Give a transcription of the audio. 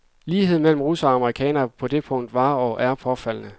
Ligheden mellem russerne og amerikanerne på det punkt var og er påfaldende.